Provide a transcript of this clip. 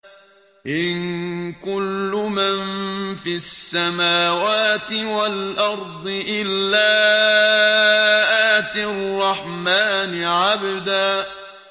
إِن كُلُّ مَن فِي السَّمَاوَاتِ وَالْأَرْضِ إِلَّا آتِي الرَّحْمَٰنِ عَبْدًا